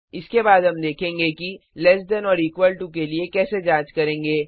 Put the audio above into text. इसके बाद हम देखेंगे कि लैस दैन और इक्वल टू के लिए कैसे जांच करेंगे